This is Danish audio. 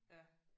Ja